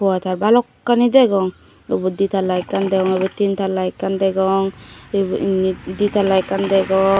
wo te balokkani degong ubod di tala ekkan degong ebed tin tala ekkan degong ebe inni di tala ekkan degong.